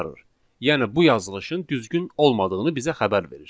Yəni bu yazılışın düzgün olmadığını bizə xəbər verir.